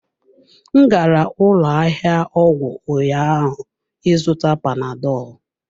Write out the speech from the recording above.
M gara ụlọ ahịa ọgwụ ụnyaahụ ịzụta panadọlụ.